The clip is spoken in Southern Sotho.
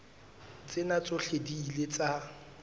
tsena tsohle di ile tsa